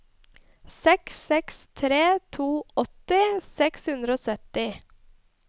seks seks tre to åtti seks hundre og sytti